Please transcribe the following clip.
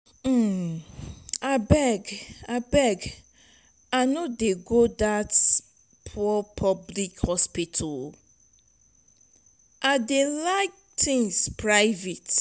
abeg abeg i no dey go dat poor public hospital i dey like things private.